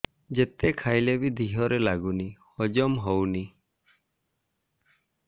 ଯେତେ ଖାଇଲେ ବି ଦେହରେ ଲାଗୁନି ହଜମ ହଉନି